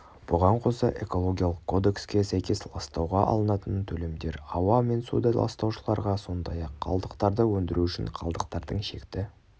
бұған қоса экологиялық кодекске сәйкес ластауға алынатын төлемдер ауа мен суды ластаушыларға сондай-ақ қалдықтарды өндіру үшін қалдықтардың шекті